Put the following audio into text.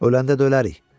Öləndə də ölərrik.